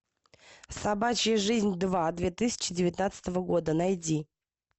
собачья жизнь два две тысячи девятнадцатого года найди